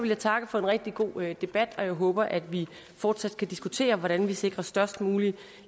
jeg takke for en rigtig god debat og jeg håber at vi fortsat kan diskutere hvordan vi sikrer størst mulig